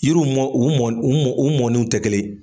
Yiriw mɔ u mɔ u mɔnenw te kelen ye.